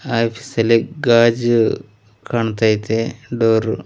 office ಅಲ್ಲಿ ಗಾಜು ಕಣ್ತೈತೆ ಡೋರು--